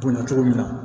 Bonɲa cogo min na